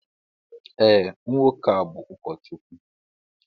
Ee, nwoke bú ụkọchukwu